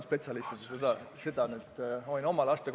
Seda ehk oskavad öelda spetsialistid.